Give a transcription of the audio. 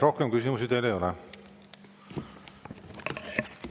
Rohkem küsimusi teile ei ole.